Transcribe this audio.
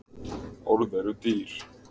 Orð eru dýr.